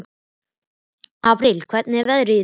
Apríl, hvernig er veðrið í dag?